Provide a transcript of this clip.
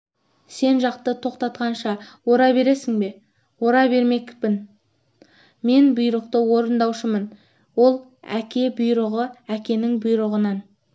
сен жақты тоқтатқанша ора бересің бе ора бермекпін мен бұйрық орындаушымын ол әке бұйрығы әкенің бұйрығынан